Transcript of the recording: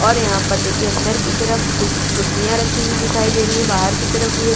ओर यहाँ पर देखिये अंदर की तरफ कुछ खुर्सीया रखी हुई दिखाई दे रही है बाहर की तरफ भी एक--